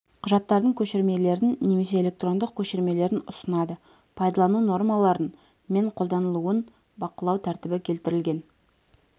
құжаттардың көшірмелерін немесе электрондық көшірмелерін ұсынады пайдалану нормаларын мен қолданылуын бақылау тәртібі келтірілген